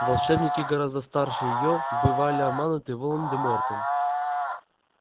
волшебники гораздо старше её бывали обмануты волан-де-мортом